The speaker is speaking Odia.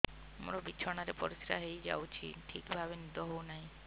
ମୋର ବିଛଣାରେ ପରିସ୍ରା ହେଇଯାଉଛି ଠିକ ଭାବେ ନିଦ ହଉ ନାହିଁ